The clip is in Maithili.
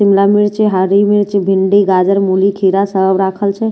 शिमला मिर्ची हरी मिर्ची भिंडी गाजर मूली खीरा सभ राखल छै--